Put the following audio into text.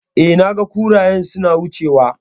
E, naga kurayen suna wucewa.